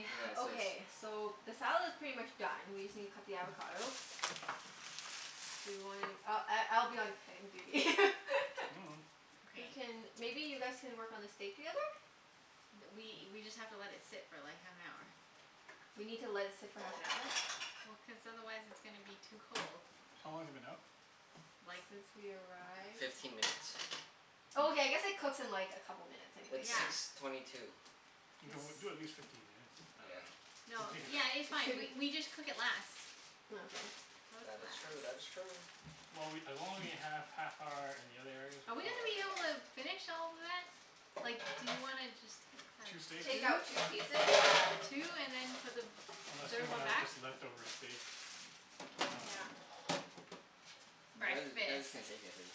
Okay. Is this Okay, so the salad's pretty much done, we just need to cut the avocado. Do you wanna, I I I'll be on cutting duty. Mm. Who Okay. can, maybe you guys can work on the steak together? Th- we we just have to let it sit for like, half an hour. We need to let it sit for half an hour. Well, cuz otherwise it's gonna be too cold. How long has it been out? Like Since we arrived. Fifteen minutes. Oh, okay, Oh. I guess it cooks in like a couple minutes anyways, It's so six Yeah. it's twenty two. Okay, well It's do at least fifteen minutes. I Yeah. dunno. Then No, take it yeah, it's out. It fine. We shouldn't we just cook it less. Oh okay. Cook That is less. true. That is true. Well, we, as long as we have half hour in the other areas Are we're we fine, gonna be right? able to finish all of that? Like, do you wanna just have Two steaks? Take out two? two pieces? Yeah. Two, and then put the Unless we third one wanna back? just leftover steak. I dunno. Yeah. You guys, you guys Breakfast. can take it if,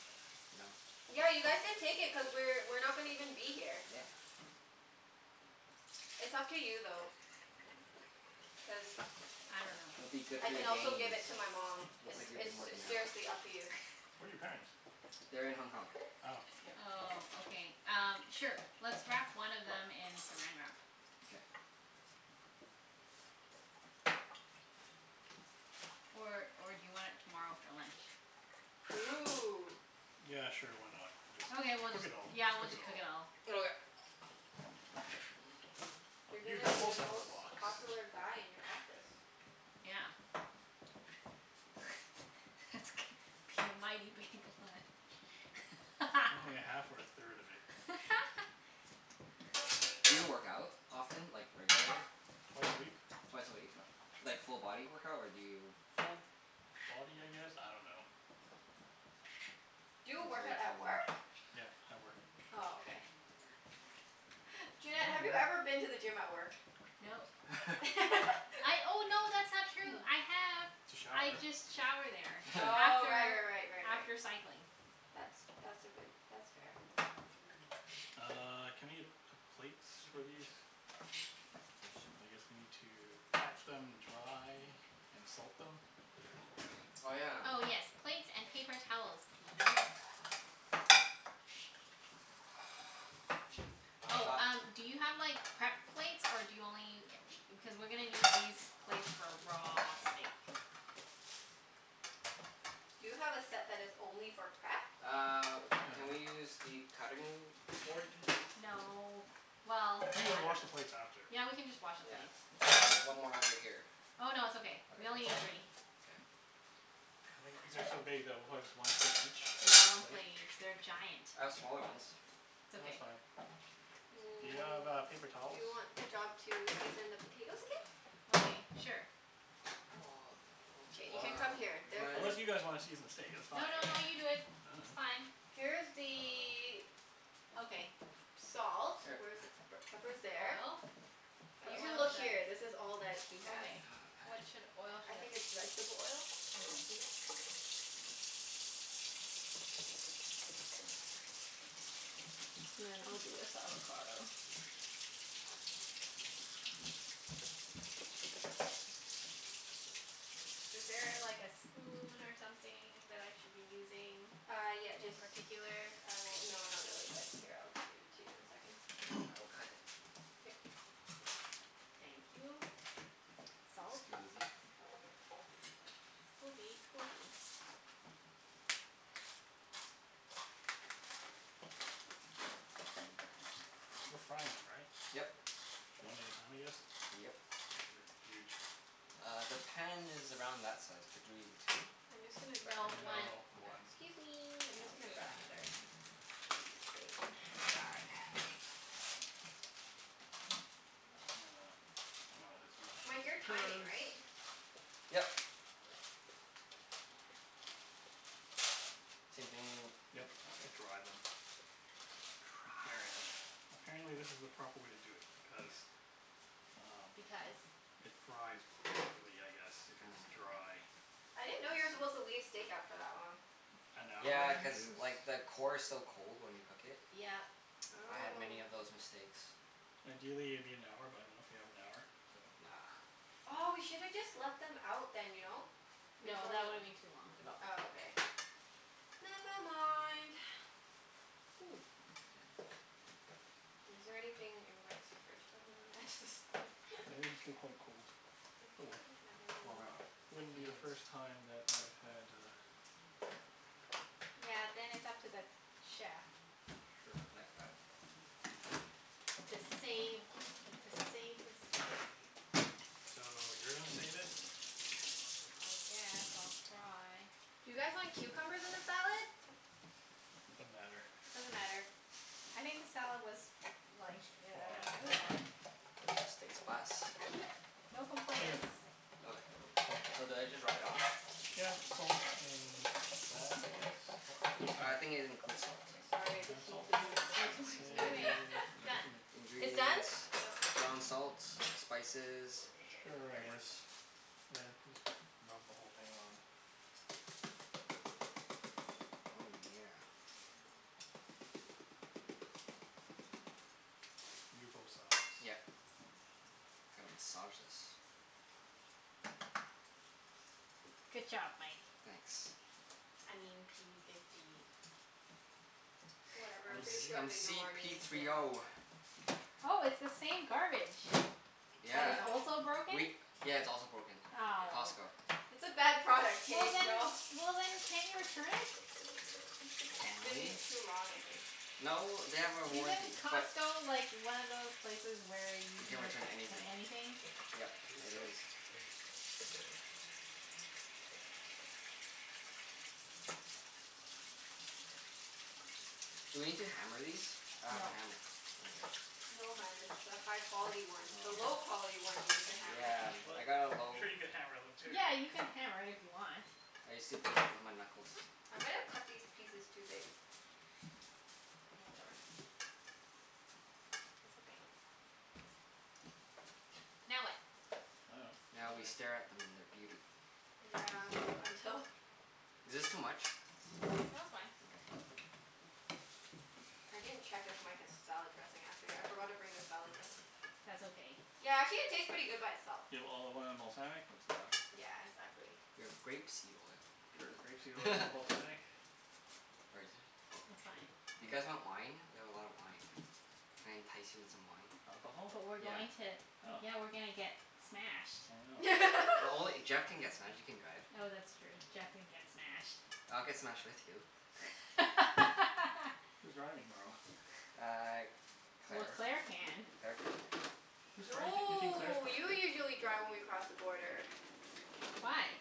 you know? Yeah, you guys can take it cuz we're we're not gonna even be here. Yeah. It's up to you though. Cuz I don't know. It'll be good I for your can also give gains. it to my mom. Looks It's like you've been it's s- working out. seriously up to you. Where are your parents? They're in Hong Kong. Oh. Yeah. Oh, okay. Um, sure. Let's wrap one of them in Saran Wrap. K. Or or do you want it tomorrow for lunch? Ooh. Yeah, sure. Why not? Just Okay, we'll cook just, it all. yeah, we'll Cook it just cook all. it all. Okay. Oh You're you gonna ha- be the also have a most box. popular guy in your office. Yeah. That's gonna be a mighty big lunch. Only a half or a third of it. Do you work out often? Like, regularly? Twice a week. Twice a week? U- like full body workout, or do you Full body, I guess? I don't know. Do He's you work out very at toned. work? Yeah, at work. Oh, okay. Junette, have you ever Mm. been to the gym at work? Nope. I, oh no, that's not true. I have. To shower. I just shower there Oh, right after right right right right. after cycling. That's that's a good, that's fair. Uh, can I get p- plates for these? Yeah, su- I guess we need to pat them dry. And salt them? Oh yeah. Oh yes, plates and paper towels please. Which I've Oh, one? got um do you have like, prep plates? Or do you only u- cuz we're gonna need these plates for raw steak. Do you have a set that is only for prep? Uh, No. can we use the cutting board? No. Well, We can I don't wash know. the plates after. Yeah, we can just wash the Yeah. plates. It's There's one more over here. Oh no, it's okay. Okay, We only that's need all? three. K. I think these are so big that we'll probably just one steak There's each one plate? plate each. They're giant. I Yeah. have smaller ones. It's No, that's okay. fine. Do you Mm, have uh, paper do towels? you want the job to season the potatoes again? Okay, sure. K, you Well can come here. There, this is Where's my Unless you the guys wanna season the steak. That's fine. No no no, you do it. I It's dunno. fine. Here's I dunno. the Okay. salt. Here. Where's the pepper? Pepper's First the there. oil. But You can oil look here. This is all that he has. Okay. What should, oil I should think I it's vegetable oil. Okay. Peanut. And then I'll do this avocado. Is there a like a spoon or something that I should be using? Uh, yeah. In Jus- particular? I will, no, not really but here, I'll give it to you in a second. Okay. I will cut it. Here. Thank you. Salt? Scusi. Scusi, scusi. We're frying them, right? Yep. One at a time, I guess? Yep. They're huge. Uh, the pan is around that size. Could you two? I'm just gonna grab No, another one. No, Okay. one. Excuse me. I'm just Sounds gonna good. grab another spoon. Die. Uh, I might as well just use my Mike, you're hands timing, because right? Yep. Okay. Same thing? Yep, E- okay. to dry them. Apparently Dry. apparently this is the proper way to do it because um Because it fries properly, I guess, if it's Oh. dry. I I didn't know you were supposed see. to leave steak out for that long. An hour Yeah, cuz like the core is so cold when you cook it. Yep. I had many Oh. of those mistakes. Ideally it'd be an hour, but I don't know if we have an hour, so Nah. Aw, we No. should have just left them out then, you know? No, Before that w- would've been too long. No. Oh, okay. Never mind. Ooh. Is there anything in Mike's fridge that we wanna add to the salad? Yeah, these are still quite cold. Does Oh he well. even have Warm any it up with Wouldn't my be the first hands. time that I had a Yeah, then it's up to the chef. Sure, Yep. Got it. oh okay. To save Uh to save the steak. So, you're gonna save it? I guess I'll try. Do you guys want cucumbers in the salad? Doesn't matter. Doesn't matter. I think the salad was like, Looks i- I do- it was fine. fine. Where's your steak spice? No Here. complaints. Okay. Oh, okay. Mm. So do I just rub it on? Yeah, coat in that I guess? I think it includes salt. Does Sorry, it I just have need salt to in do it? this, that's why. Anyway, Seasoning. Say done. It's in it. It's done? Ingredients. Yep. Ground salt. Spices. Mm, k. Sure, I Peppers. guess. Yeah, just rub the whole thing on. Oh yeah. And do both sides. Yep. I don't know. Gotta massage this. Good job, Mike. Thanks. I mean p fifty. Whatever. I'm P Pretty s- Diddy. sure I'm they know c our p names three now. o. Oh, it's the same garbage. I That Yeah. is know. also broken. We, yeah, it's also broken. Ow. Costco. It's a bad product, Well k? We then, all well then can't you return it? Can Been we? too long, I think. No, they have a Isn't warranty but Costco like, one of those places where you You can can ret- return in anything. anything? Yep, Do you use it soap? is. I use soap. Do we need to hammer these? I have a No. hammer. Okay. No hun, it's the high quality one. The low Oh. quality one you need to hammer. Yeah. What? I got a I'm low sure you could hammer them too. Yeah, you can hammer it if you want. I used to beat it with my knuckles. I might've cut these pieces too big. Oh, whatever. That's okay. Now what? I dunno. Now we stare at them in their beauty. Yeah, until Is this too much? No, it's fine. Okay. Cool. I didn't check if Mike has salad dressing, actually. I forgot to bring the salad dressing. That's okay. Yeah, actually it tastes pretty good by itself. You have olive oil and balsamic? That's enough. Yeah, exactly. We have grape seed oil. Sure. Grape seed oil and balsamic. Where is it? I'm not It's fine. sure. You guys want wine? We have a lot of wine. Can I entice you in some wine? Alcohol? But we're Yeah. going to Oh. Yeah, we're gonna get smashed. Oh no. No only, Jeff can get smashed. You can drive. Oh, that's true. Jeff can get smashed. I'll get smashed with you. Who's driving tomorrow? Uh, Well, Claire. Claire can. Claire can. Whose car are you taki- you're taking Claire's No, car, you right? usually Yeah. drive when we cross the border. Why?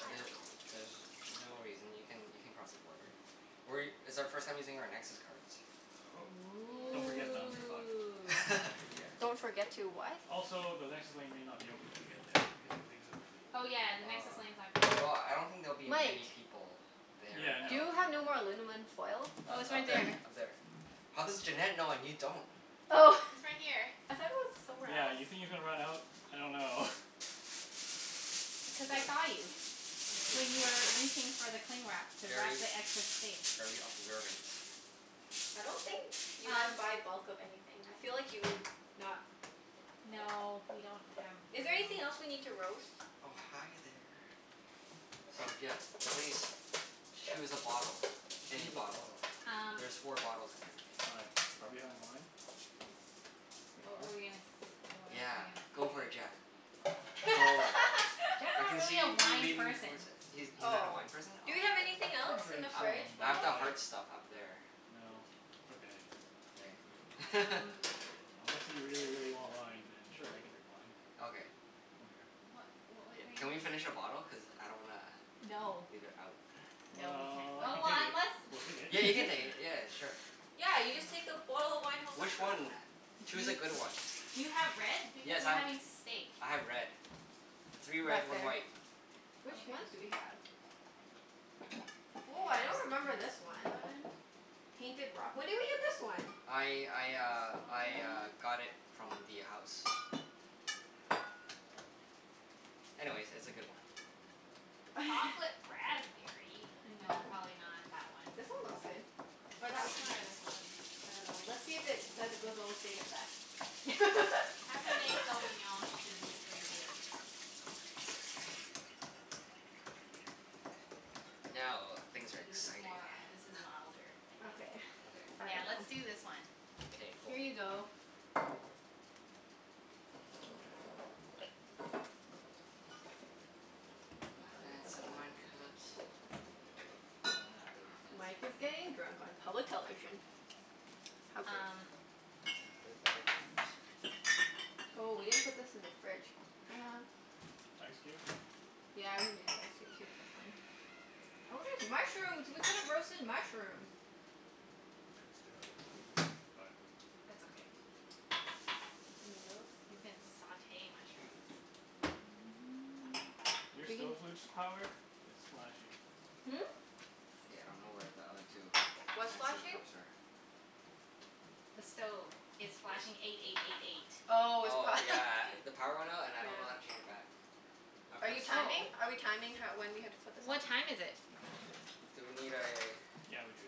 I don't The- know. there's no reason. You can you can cross the border. We, it's our first time using our Nexus cards. Oh. Don't forget them, Yeah. you're fucked. Ooh. Yeah. Don't forget to what? Also, the Nexus lane may not be open when you get there because you're leaving so early. Oh yeah, the Nexus Ah. lane's not gonna be Well, open. I don't think there'll be Mike. many people there Yeah, at Do no. you that time. have no more alunamin foil? Oh, it's U- up right there. there. Up there. How does Junette know and you don't? Oh! It's right here. I thought it was somewhere Yeah, else. you think you're gonna run out? I dunno. Because I S- saw you. I see. When you were reaching for the cling wrap to wrap Very the excess steak. very observant. I don't think you guys Um buy bulk of anything. I feel like you would not. No, we don't have Is there room. anything else we need to roast? Oh, hi there. So yeah, please choose a bottle. Any Choose a bottle. bottle. Um There's four bottles, I think. Why? Are we having wine? We What are? were we gonna s- what was I Yeah, go for it gonna say? Jeff. Oh. Go. Jeff's I not can really a see you wine leaning person. towards it. He's he's not a Oh. wine person? Do we Oh. have anything I else in drink the I fridge, some, I have though? but the like hard stuff up there. No, it's okay. K. Um Unless you really, really want wine, then sure, I can drink wine. Okay. I don't care. What what was Yeah, can we I finish a bottle? Cuz I don't wanna No. leave it out. No, we can't. Well, Oh, we can well take it. unless We'll take Yeah, you can it. take it. Yeah, sure. Yeah, you just Oh. take the bottle of wine home Which afterwards. one? Do Choose you a good one. Do you have red? Because Yes, we're I've, having steak. I have red. Three red, Back one there. white. Which ones Okay. do we have? Woah, I don't remember this one. Painted Rock? When did we get this one? I I uh This I uh one. got it from the house. Anyways, it's a good one. Chocolate raspberry? No, Yeah. probably not that one. This one looks good. Or that one. This one or this one? I dunno. Let's see if it says it goes well with steak at the back. Cabernet Sauvignon should be pretty good. Now, things are Yeah, this is exciting. more, this is milder, I think. Okay. I Yeah, let's dunno. do this one. Okay. K, cool. Here you go. Okay. My fancy wine cups. Oh, not really fancy Mike is really. getting drunk on public television. How great. Um Oh, they're better cups. Oh, we didn't put this in the fridge. Shoot. Ice cube? Yeah, we needed ice c- cubes. That's fine. Oh, there's mushrooms. We could've roasted mushrooms. Could still, but That's okay. Tomatoes. You can sauté mushrooms. Your We can stove lose power? It's flashing. Hmm? K, I don't know where the other two What's fancier flashing? cups are. The stove. It's This? flashing eight eight eight eight. Oh, it's Oh, pro- yeah. The power went out and I don't know how to Yeah. change it back. I Are you press timing? Oh. Are we timing ho- when we have to put this on? What time is it? Do we need a Yeah, we do.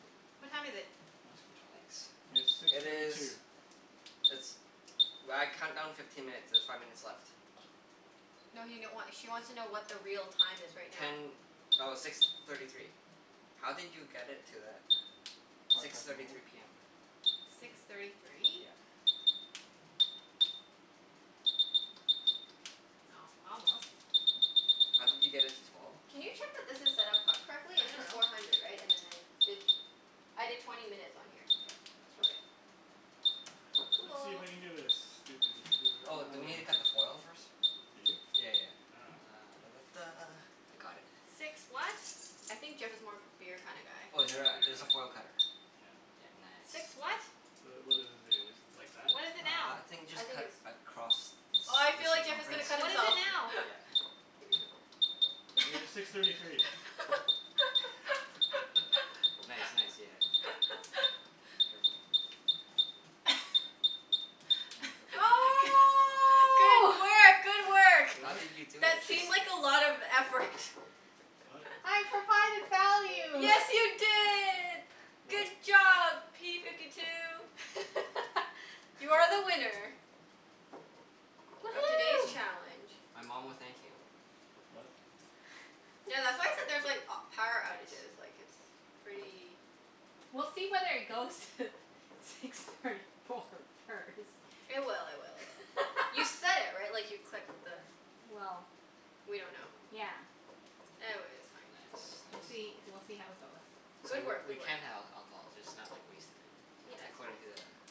Cool. What time is it? Not a screw top. Nice. It's six It thirty two. is it's, well, I count down fifteen minutes. There's five minutes left. No he n- wa- she wants to know what the real time is right now. Ten, oh, six thirty three. How did you get it to that? Probably Six press and thirty hold? three p m. Six thirty three? Yeah. Oh, almost. How did you get it to twelve? Can you check that this is set up co- I correctly? It's just dunno. four hundred, right? And then I did, I did twenty minutes on here. Yeah. Yeah. That's Okay. okay. Let's see if Cool. I can do this. Doo doo doo doo doo. Oh, do we need to cut the foil first? Do you? Yeah yeah yeah. I dunno. Ah da da da. I got it. I think Jeff is more of a beer kinda guy. Oh, is Yeah, there I'm a a, beer there's guy. a foil cutter. Yeah. Yeah, nice. The, what does this do, just like that? Uh, I think just I think cut it's across the Oh, I ci- the feel like Jeff is Oh, gonna circumference? cut himself. okay. Yeah. It was six Yeah, thirty three. be Nice, careful. nice. Yeah. There ya go. Careful. G- I don't know if I cut it right. Oh! good work! Good work! How What? did you do it? That It seemed just like a lot of effort. What? I provided value! Yes, you did! Good What? job, p fifty two! You are the winner. Of today's Woohoo! challenge. My mom will thank you. What? Tha- that's why I said there's like a- power Nice. outages, like it's pretty We'll see whether it goes to six thirty four first. It will, it will, it will. You set it, right? Like, you clicked the Well We don't know. Yeah. E- w- it's fine. Nice, We'll see, nice. we'll see how it goes. So Good w- work. we Good work. can have alcohol, just not like, wasted, right? Yeah, it's According to fine. the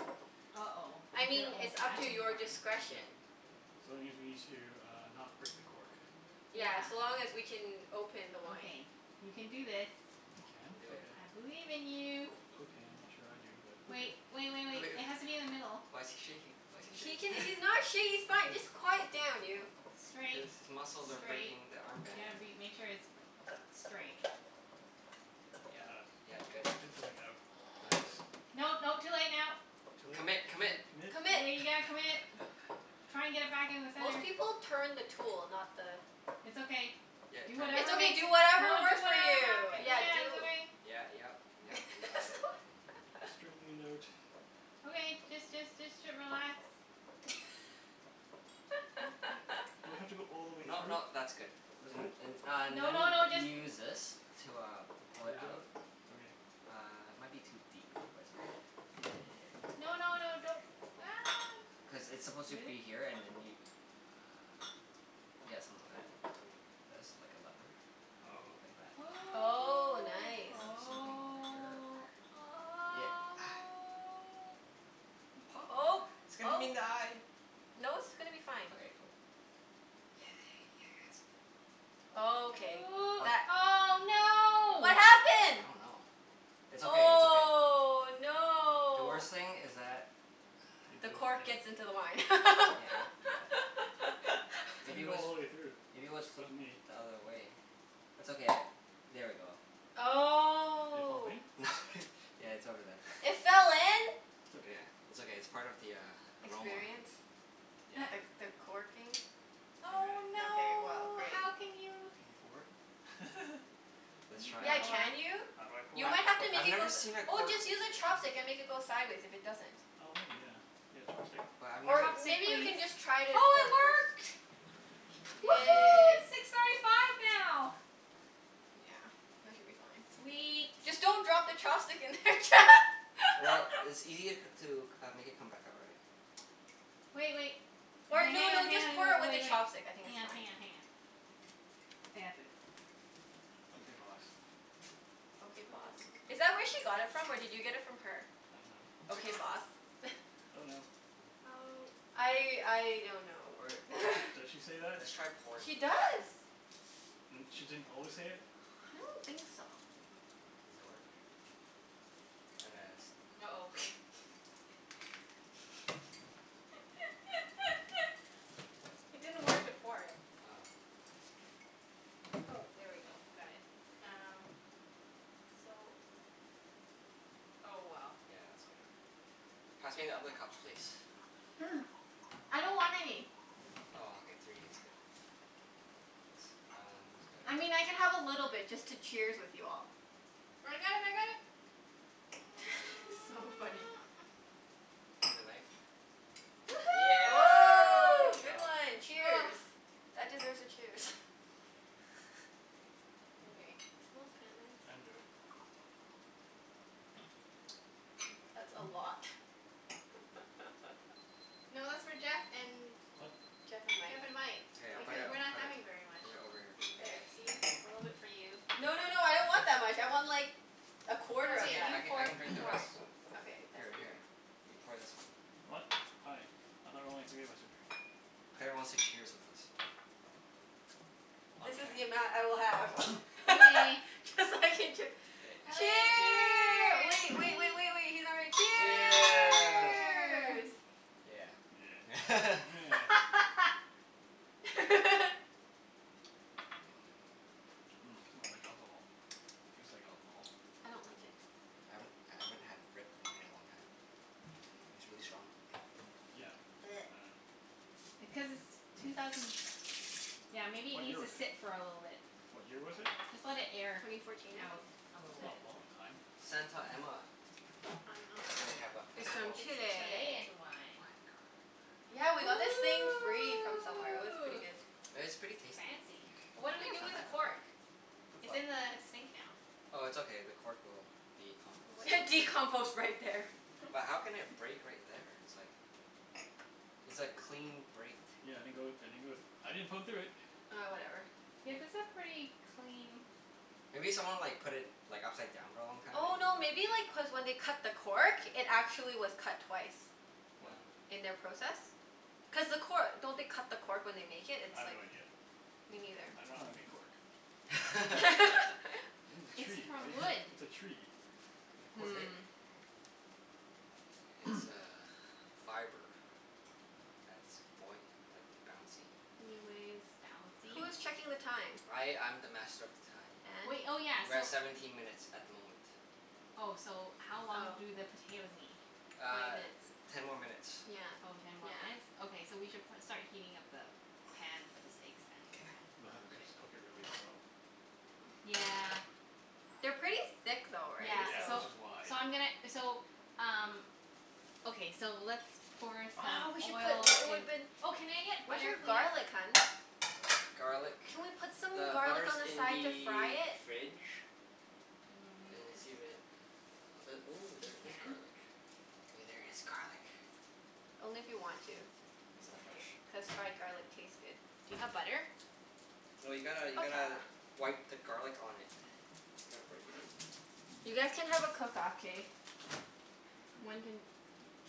uh-oh. I It's an mean, old it's up to fashioned your one. No. discretion. So it means we need to uh, not break the cork. Yeah. Yeah, so long as we can open the wine. Okay. You can do this. I can? You can do it. Okay. I believe in you. Okay. I'm not sure I do, but okay. Wait, wait wait wait. It has to be in the middle. Why's he shaking? Why's he He can, shaking? he's not sha- he's Let's fine, do this. just quiet down, you. Straight. His his muscles are Straight. breaking the arm You band. gotta be, make sure it's straight. Yeah. Ah, Yeah, good. and going Oh, outwards. is it? No, no. Too late now. Too late? Commit! Commit! Commit? Commit? Commit. Yeah, you gotta commit. Try and get it back in the Most center. people turn the tool, not the It's okay. Yeah, it Do turns. It's whatever okay, makes do you, whatever don't do, it works for won't you. happen. Turn the Yeah, cork. Yeah, do it's okay. Yeah, yep, yep, you got it. Straightening it out. Okay, just just just t- relax. Do I have to go all the way No through? no, that's good. That's And good? and uh No no then no, you just use this to uh, pull it Leverage out? out. Okay. Uh, it might be too deep, but it's okay. No no no, don't. Ah, Cuz n- it's supposed to Really? be here and then you uh, yeah, something like that. Okay. This. Like a level. Oh. Like that. Oh. Oh, And nice. then same thing over here. Oh. Oh. Yeah. Oh, Pop. It's gonna hit him oh. in the eye. No, it's gonna be fine. Okay, cool. Oh, okay Ooh. What that Oh, What no! I happened? don't know. It's okay. It's okay. Oh, The no! worst thing is that It The goes cork in. gets into the wine. Yeah, how did that I Maybe didn't it go was, all the way through. maybe it was This flipped wasn't the me. other way? It's okay, I'll, there we go. It fall Oh. in? Yeah, it's over there. It fell in? It's okay. Yeah. It's okay. It's part of the uh, aroma. Experience? Experience. The Yeah. Sure. the corking? Okay. Oh, Okay, well no! great. How can you Can you pour? Let's You can Yeah, try. pour. can you? You I might have to make I've it go never s- seen a oh, cork just use a chopstick and make it go sideways if it doesn't. Oh maybe, yeah. You got a chopstick? But I've never Or, s- Say maybe you please. can just try to Oh, pour it it first. work! Woohoo, Yay! it's six thirty five now! Yeah, that should be fine. Sweet. Just don't drop the chopstick in there. Well, it's ea- to c- uh, make it come back out, right? Wait wait. Or Hang no hang on, no, just hang pour on it and with the wait wait. chopstick. I think Hang it's on, fine. hang on, hang on. I got this. Okay boss. Okay, boss. Is that where she got it from or did you get it from her? I dunno. Okay, No. boss? Don't know. Oh. I I don't know Or or Does she does she say that? let's try pouring it She first. does. N- she didn't always say it? I don't think so. Does it work? At a s- uh-oh. It didn't work to pour it. Oh. Oh, there we go. Got it. Yeah. Um, so Oh well. Yeah, that's gonna Pass me the other cups, please. I don't want any. Oh, okay. Three is good. Thanks. That one is good? I mean, I can have a little bit just to cheers with you all. I got it, I got it. So funny. Need a knife? Woohoo! Oh, Good good job. one! Cheers! That deserves a cheers. Okay. Smells kinda I nice. didn't do it. Hmm, that's a lot. No, that's for Jeff and What? Jeff and Mike. Jeff and Mike. K, I'll put Because it, No. we're Okay. not put it, having very much. put it over here. There, Okay. see? A little bit for you. No no no, I don't want that much. I want like a quarter It's of Okay, okay. you I that. can I pour it. can You drink the pour it. rest. Okay, that's Here for you. here, you pour this one. What? Hi. I thought only three of us were drinking. Claire wants to cheers with us. Oh. On This is cam- the amount I will have. Okay. Cuz I can chee- Yay. Okay, Cheer, wait cheers! wait wait wait wait, he's not ready. Cheers. Cheers! Cheer! Yeah. Yeah. Meh. Mmm, smells like alcohol. Tastes like alcohol. I don't like it. I haven't, I haven't had red wine in a long time. It's really strong. Yeah, I dunno. Because it's two thousand Yeah, maybe it What year needs to was it? sit for a little bit. What year was it? Just let it air Twenty fourteen, I out. think? A Is little That's it? bit. not a long time. Santa Emma. I dunno. And then we have a It's from little It's Chile. Chilean wine. Yeah, we got this thing free from somewhere. It was pretty Ooh! good. It's pretty tasty. Fancy. What do Yeah, we it's do not with the bad. cork? Okay. Fruit It's fly. in the sink now. Oh, it's okay. The cork will be composted. What Decompost right there. But how can it break right there? It's like It's a clean break, too. Yeah, I didn't go I didn't go thr- I didn't poke through it. Ah, whatever. Yeah, Yeah. this a pretty clean Maybe someone like put it like upside down for a long time? Oh, no maybe like cuz when they cut the cork it actually was cut twice. What? Oh. In their process. Cuz the cor- don't they cut the cork when they make it? I It's have no like idea. Me neither. I dunno how they make cork. It's in a It's tree, from right? wood. It's a tree. It's a Is cork tree. it? Hmm. It's uh fiber. That's boy- like, bouncy. Anyways. Bouncy? Who's checking the time? I I'm the master of the time. Wait, And? oh yeah, We're so at seventeen minutes at the moment. Oh, so how long Oh. do the potatoes need? Twenty Uh, minutes. ten more minutes. Yeah. Oh, ten more Yeah. minutes? Okay, so we should pro- start heating up the pan for the steaks, then. K. just cook it really slow. Yeah. They're pretty thick though, right? Yeah, Yeah, So so which is why. so I'm gonna, so um Okay, so let's pour Oh, we some should put oil l- it in woulda been Oh, can I get Where's butter your please? garlic, hun? Garlic, Can we put some the garlic on butter's the in side to fry the it? fridge. Mm, And it's see too if it, ooh, We there is can. garlic. Wait, there is garlic. Only if you want to. Is Just it a few. fresh? Cuz fried garlic tastes good. Do you have butter? No, you gotta you gotta Buttah. wipe the garlic on it. Gotta break in. You guys can have a cook off, k? One can,